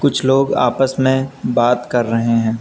कुछ लोग आपस में बात कर रहे हैं।